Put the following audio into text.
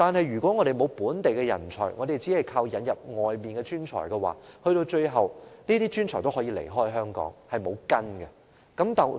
如果香港缺乏本地人才，只能依靠從外地引入專才，這些無根的專才最後也可能離開香港。